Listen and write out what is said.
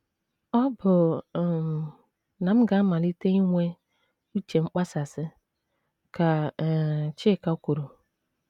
“ Ọ bụ um na m ga - amalite inwe ‘ uche mkpasasị, ’” ka um Chika kwuru.